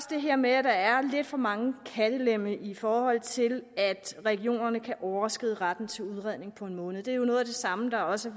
det her med at der er lidt for mange kattelemme i forhold til at regionerne kan overskride retten til udredning på en måned det er jo noget af det samme der også